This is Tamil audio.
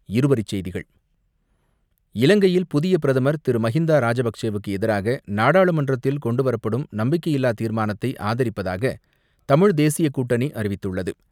இருவரிச்செய்திகள் இலங்கையில் புதிய பிரதமர் திரு மஹிந்தா ராஜபக்சேவுக்கு எதிராக நாடாளுமன்றத்தில் கொண்டு வரப்படும் நம்பிக்கையில்லா தீர்மானத்தை ஆதரிப்பதாக தமிழ் தேசிய கூட்டணி அறிவித்துள்ளது.